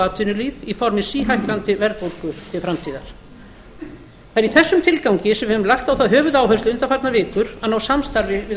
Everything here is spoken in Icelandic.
atvinnulíf í formi síhækkandi verðbólgu til framtíðar það er í þessum tilgangi sem við höfum lagt á það höfuðáherslu undanfarnar vikur að ná samstarfi við